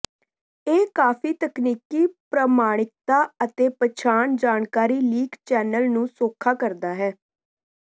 ਇਹ ਕਾਫ਼ੀ ਤਕਨੀਕੀ ਪ੍ਰਮਾਣਿਕਤਾ ਅਤੇ ਪਛਾਣ ਜਾਣਕਾਰੀ ਲੀਕ ਚੈਨਲ ਨੂੰ ਸੌਖਾ ਕਰਦਾ ਹੈ